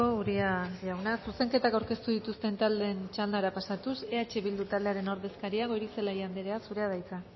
uria jauna zuzenketak aurkeztu dituzten taldeen txandara pasatuz eh bildu taldearen ordezkaria goirizelaia andrea zurea da hitza